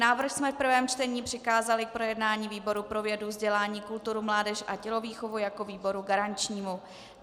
Návrh jsme v prvém čtení přikázali k projednání výboru pro vědu, vzdělání, kulturu, mládež a tělovýchovu jako výboru garančnímu.